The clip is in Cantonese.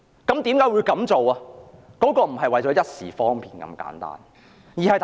這絕對不是為了一時方便那麼簡單。